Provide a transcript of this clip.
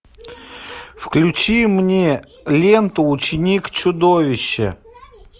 включи мне ленту ученик чудовища